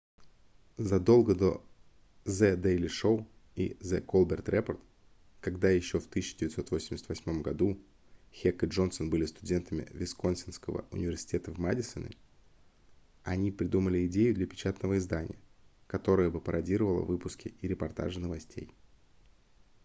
задолго до the daily show и the colbert report когда еще в 1988 году хек и джонсон были студентами висконсинского университета в мадисоне они придумали идею для печатного издания которое бы пародировало выпуски и репортажи новостей